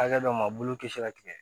Hakɛ dɔw ma bolo kisi ka tigɛ